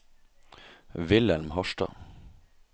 Vilhelm Harstad